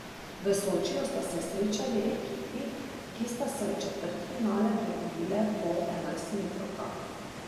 V Sočiju sta se srečali ekipi, ki sta se v četrtfinale prebili po enajstmetrovkah.